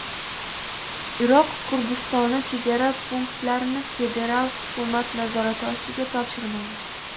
Iroq Kurdistoni chegara punktlarini federal hukumat nazorati ostiga topshirmaydi.